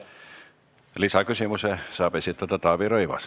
Lisaküsimuse saab esitada Taavi Rõivas.